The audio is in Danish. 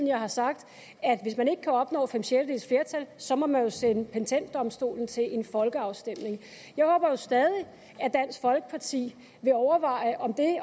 jeg har sagt at hvis man ikke kan opnå fem sjettedeles flertal så må man jo sende patentdomstolen til en folkeafstemning jeg håber jo stadig at dansk folkeparti vil overveje om det at